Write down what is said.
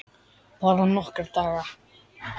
Bara nokkra daga.